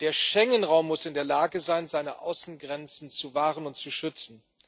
Der Schengen Raum muss in der Lage sein, seine Außengrenzen zu wahren und zu schützen.